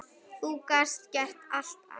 Þú gast gert allt, afi.